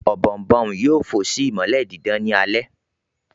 Ọ̀bọ̀ọ̀nbọọ̀n yoo fò si imọlẹ didan ni alẹ